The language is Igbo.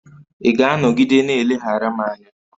Ị ga-anọgide na-eleghara m anya?